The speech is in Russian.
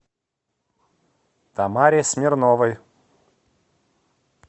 тамаре смирновой